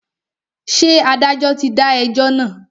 Ṣé adájọ́ ti dá ẹjọ́ náà?